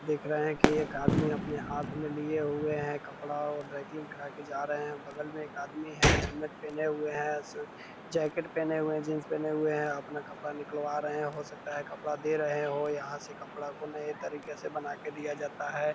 देख रहे हैं की एक आदमी अपने हाथ में लिए हुए हैं कपड़ा और ड्राई क्लीन करा के जा रहे हैं बगल में एक आदमी है हेलमेट पहने हुए है जैकेट पहने हुए हैं जींस पहने हुए हैं अपना कपड़ा निकलवा रहे हैं हो सकता है कपड़ा दे रहे हो यहां पर कपड़ा को नए तरीके से बना कर दिया जाता है।